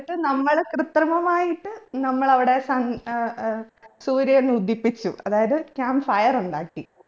എന്നിട്ട് നമ്മള് കൃത്രിമമായിട്ട് നമ്മളവിടെ sun ഏർ സൂര്യനുദിപ്പിച്ചു അതായത് camp fire ഉണ്ടാക്കി